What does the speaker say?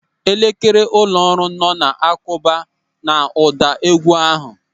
Elekere ụlọ ọrụ nọ na-akụba n'ụda égwú ahụ.